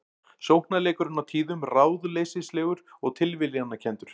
Sóknarleikurinn á tíðum ráðleysislegur og tilviljanakenndur